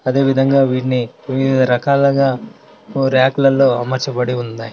అదేవిధంగా వీటిని వివిధరకాలుగా ర్యాక్ క్ లలో అమర్చబడి ఉన్నాయి.